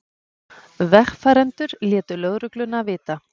Vegfarendur létu lögregluna vita